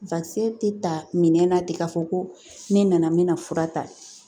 tɛ ta minɛn na ten ka fɔ ko ne nana me na fura ta .